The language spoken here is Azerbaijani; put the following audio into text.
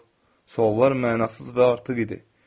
Suallar mənasız və artıq idi.